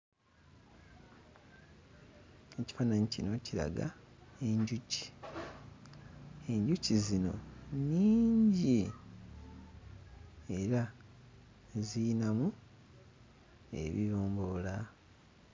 Ekifaananyi kino kiraga enjuki enjuki zino nnyingi era ziyinamu ebibomboola.